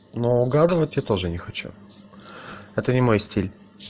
ну угадывать я тоже не хочу это не мой стиль